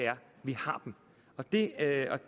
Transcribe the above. det herre